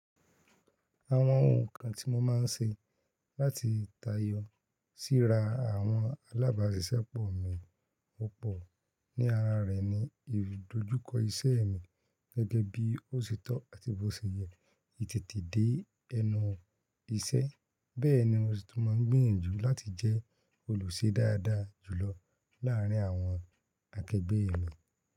Àwọn ohun kan tí mo máa ń ṣe láti tayọ síra àwọn alábàáṣiṣẹ́ pọ̀ mi púpọ̀ ní ara rẹ̀ ni ìdojúkọ iṣẹ́ mi gẹ́gẹ́ bí ó ṣe tọ́ àti bó ṣe yẹ, ìtètè dé ẹnu iṣẹ́, bẹ́ẹ̀ ni mo sì tún máa ń gbìyànjú láti jẹ́ olùṣe dáadáa jùlọ láàárín àwọn akẹgbẹ mi.